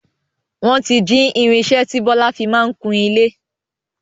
Wọn tí jí irinsẹ́ tí Bọlá fii máa ń kùn ilé